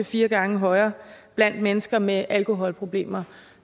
fire gange højere blandt mennesker med alkoholproblemer